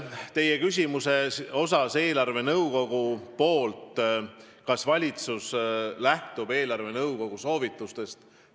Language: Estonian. Te küsisite eelarvenõukogu kohta, et kas valitsus lähtub eelarvenõukogu soovitustest.